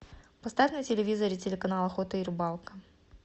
поставь на телевизоре телеканал охота и рыбалка